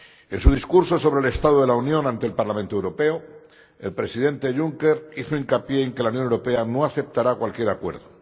En su discurso sobre el Estado de la Unión ante el Parlamento Europeo, el Presidente Juncker hizo hincapié en que la Unión Europea no aceptará cualquier acuerdo.